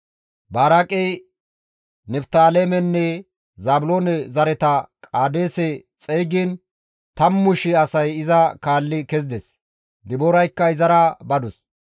Baraaqey Niftaalemenne Zaabiloone zareta Qaadeese xeygiin tammu shii asay iza kaalli kezides; Dibooraykka izara badus.